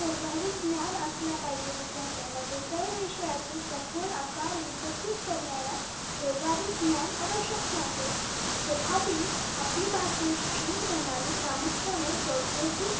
व्यवहारिक ज्ञान असला पाहिजे विद्यार्थ्यांना कोणताही विषयाचे सखोल आकार विकसित करणाऱ्या व्यवहारिक ज्ञान आवशक्य आहे तथापि आपली भारतीय शिक्षण प्रणाली प्रामुख्याने सौद्धतीक